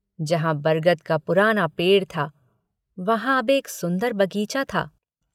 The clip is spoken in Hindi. जहाँ बरगद का पुराना पेड़ था वहाँ अब एक सुन्दर बगीचा था।